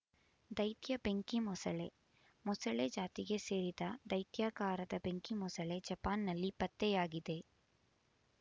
ದೈತ್ಯ ಬೆಂಕಿ ಮೊಸಳೆ ಮೊಸಳೆ ಜಾತಿಗೆ ಸೇರಿದ ದೈತ್ಯಾಕಾರದ ಬೆಂಕಿ ಮೊಸಳೆ ಜಪಾನ್‌ನಲ್ಲಿ ಪತ್ತೆಯಾಗಿದೆ